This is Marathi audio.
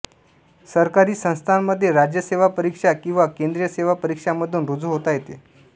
सरकारी संस्थांमध्ये राज्य सेवा परीक्षा किंवा केंद्रीय सेवा परीक्षांमधून रुजू होता येते